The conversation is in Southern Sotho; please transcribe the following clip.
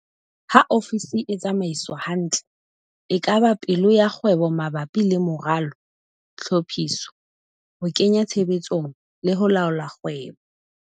Ha ofisi e tsamaiswa hantle, e ka ba pelo ya kgwebo mabapi le moralo, tlhophiso, ho kenya tshebetsong, le ho laola kgwebo.